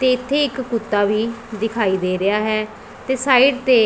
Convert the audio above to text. ਤੇ ਇੱਥੇ ਇੱਕ ਕੁੱਤਾ ਵੀ ਦਿਖਾਈ ਦੇ ਰਿਹਾ ਹੈ ਤੇ ਸਾਈਡ ਤੇ